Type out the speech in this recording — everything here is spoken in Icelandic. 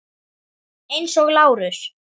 Eins og Lárus.